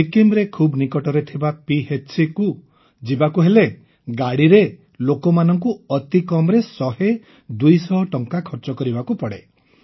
ସିକିମ୍ରେ ଖୁବ୍ ନିକଟରେ ଥିବା PHCକୁ ଯିବାକୁ ହେଲେ ଗାଡ଼ିରେ ଲୋକମାନଙ୍କ ଅତିକମ୍ରେ ଶହେ ଦୁଇଶହ ଟଙ୍କା ଖର୍ଚ୍ଚ କରିବାକୁ ପଡ଼େ